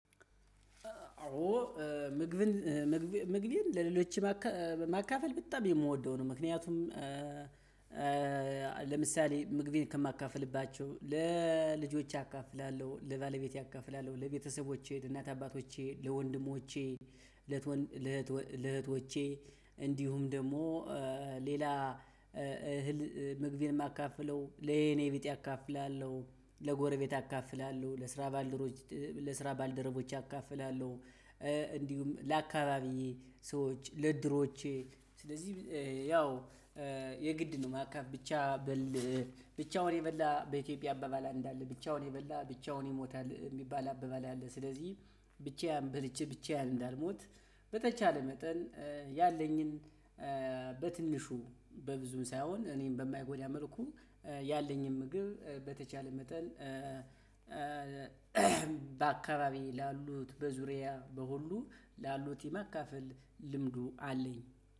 አዎ ምግብን ምግብን ለሌሎች ማካፈል በጣም የምወደው ነው። ምክንያቱም ለምሳሌ ምግቤን ከማካፍልባቸው ለልጆቼ አካፍላለሁ ለባለቤቴ አካፍላለሁ ለቤተሰቦቼ ለእናት አባቶቼ ለወንድሞቼ ለእህቶቼ እንዲሁም ደግሞ ሌላ እህል ምግቤን የማካፍለው ለ የኔ ቢጤ አካፍላለሁ ለጎረቤት አካፍላለሁ። ለስራ ባልደረቦች አካፍላለሁ። እንዲሁም ለአካባቢዬ ሰዎች ለድሮቼ ስለዚህ ያው የ ግድ ነው ማካፈል ብቻ በል ብቻውን የበላ በ ኢትዮጵያ አባባል አንድ አለ ብቻውን የበላ ብቻውን ይሞታል የ ሚባል አባባል። አለ። በትንሹ በብዙም ሳይሆን እኔን በማይጎዳ መልኩ ያለኝን ምግብ በተቻለ መጠን። በአካባቢ ላሉት በዙሪያ በሁሉ ላሉት የማካፈል ልምዱ አለኝ።